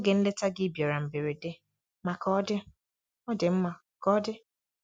Oge nleta gị bịara mberede, ma ka ọ dị, ọ dị mma ka ọ dị.